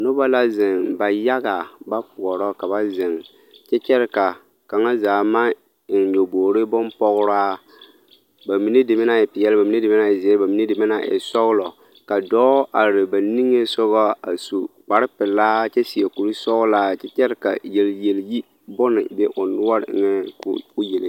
Nobɔ la zeŋ ba yaga ba poɔrɔ ka ba zeŋ kyɛ kyɛre ka kaŋa zaa maŋ eŋ nyɔboore bompɔgraa ba mine deme naŋ e peɛl ba mine deme naŋ e zeɛ ba mine deme naŋ e sɔglɔ ka dɔɔ are ba niŋesogɔ a su kparrepelaa kyɛ seɛ kurusɔglaa kyɛ kyɛre ka yelyelyi bone be o noɔre eŋɛŋ koo yele.